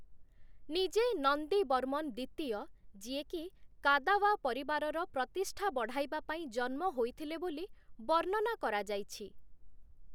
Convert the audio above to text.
ନିଜେ 'ନନ୍ଦୀବର୍ମନ ଦ୍ଵିତୀୟ' ଯିଏକି କାଦାୱା ପରିବାରର ପ୍ରତିଷ୍ଠା ବଢ଼ାଇବାପାଇଁ ଜନ୍ମ ହୋଇଥିଲେ, ବୋଲି ବର୍ଣ୍ଣନା କରାଯାଇଛି ।